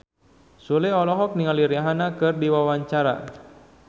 Sule olohok ningali Rihanna keur diwawancara